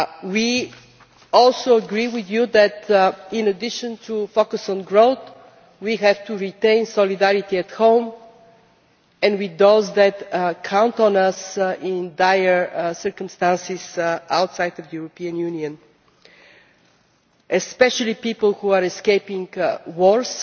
We also agree with you that, in addition to focusing on growth, we have to retain solidarity at home and with those who count on us in dire circumstances outside the European Union, especially people who are escaping wars